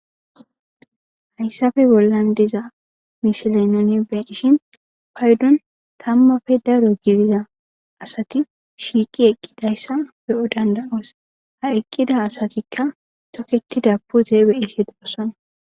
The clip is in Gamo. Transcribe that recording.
Hayssafe bollan diza misile nuni beshin paydon tammafe daro giriza asati shiiqi eqqidayssa be'o danda'os ha eqqida asatikka toketi da pute be ishe doosana.